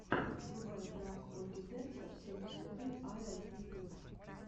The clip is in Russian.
врубай пранк ольги дэнсер семьдесят три айэл ютюб